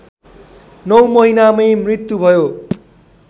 नौ महिनामै मृत्यु भयो